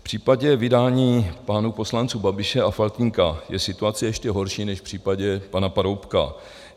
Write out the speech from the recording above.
V případě vydání pánů poslanců Babiše a Faltýnka je situace ještě horší než v případě pana Paroubka.